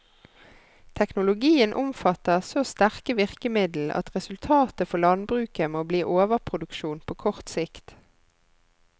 Teknologien omfatter så sterke virkemiddel at resultatet for landbruket må bli overproduksjon på kort sikt.